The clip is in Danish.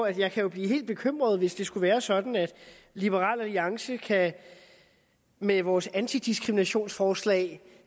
jeg kan jo blive helt bekymret hvis det skulle være sådan at liberal alliance med vores antidiskriminationsforslag